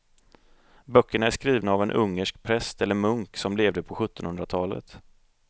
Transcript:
Böckerna är skrivna av en ungersk präst eller munk som levde på sjuttonhundratalet.